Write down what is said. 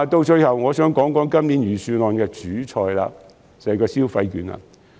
最後，我想談今年預算案的"主菜"，即消費券。